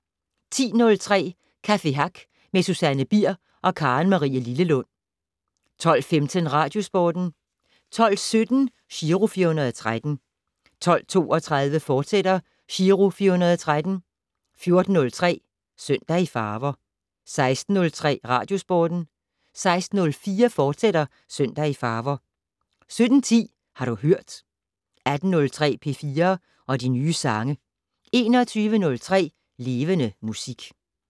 10:03: Café Hack med Susanne Bier og Karen-Marie Lillelund 12:15: Radiosporten 12:17: Giro 413 12:32: Giro 413, fortsat 14:03: Søndag i farver 16:03: Radiosporten 16:04: Søndag i farver, fortsat 17:10: Har du hørt 18:03: P4 og de nye sange 21:03: Levende Musik